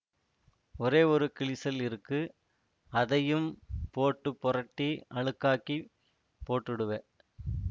ஒரே ஒரு கிழிசல் இருக்கு அதையும் போட்டு பொரட்டி அழுக்காக்கிப் போட்டுடுவ